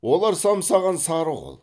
олар самсаған сары қол